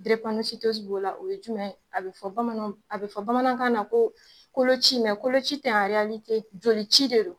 b'o la, o ye jumɛn ye, a bi fɔ bamananw, a bi fɔ bamanankan na ko koloci koloci tɛ jolici de don.